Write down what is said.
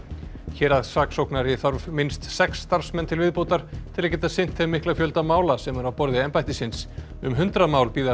héraðssaksóknari þarf minnst sex starfsmenn til viðbótar til að geta sinnt þeim mikla fjölda mála sem er á borði embættisins um hundrað mál bíða